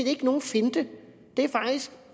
ikke nogen finte det er faktisk